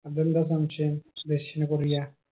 അതെന്താ സംശയം ദക്ഷിണ കൊറിയ